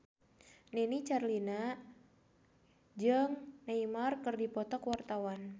Nini Carlina jeung Neymar keur dipoto ku wartawan